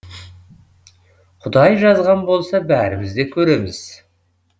құдай жазған болса бәріміз де көреміз